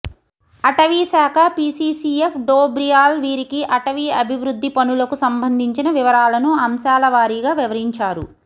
అటవీశాఖ పీసీసీఎఫ్ డోబ్రియాల్ వీరికి అటవీ అభివృద్ధి పనులకు సంబంధించిన వివరాలను అంశాలవారీగా వివరించారు